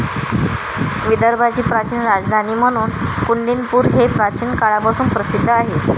विदर्भाची प्राचीन राजधानी म्हणून कुंडीनपूर हे प्राचीन काळापासून प्रसिद्ध आहे.